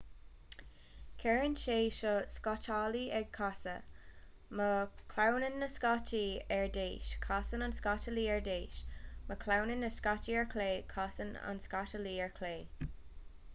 cuireann sé seo an scátálaí ag casadh má chlaonann na scátaí ar dheis casann an scátálaí ar dheis má chlaonann na scátaí ar chlé casann an scátálaí ar chlé